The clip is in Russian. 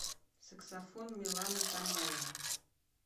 саксофон милана томаева